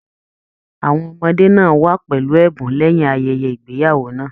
Àwọn ọmọdé náà wá pẹlú ẹbùn lẹyìn ayẹyẹ ìgbéyàwó náà.